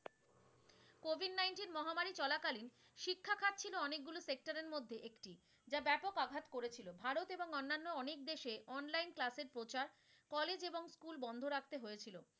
মহামারী চলাকালীন শিক্ষাখাত ছিল অনেকগুলো sector এর মধ্যে একটি, যা ব্যাপক আঘাত করেছিল। ভারত এবং অন্যান্য অনেক দেশে online class এর প্রচার college এবং school বন্ধ রাখতে হয়েছিলো।